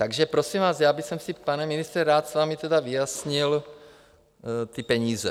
Takže prosím vás, já bych si, pane ministře, rád s vámi vyjasnil ty peníze.